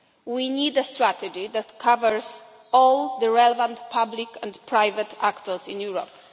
We need a strategy that covers all the relevant public and private actors in Europe.